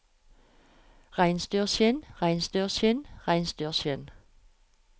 reinsdyrskinn reinsdyrskinn reinsdyrskinn